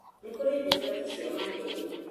Nĩ kũrĩ ndungata cia maheni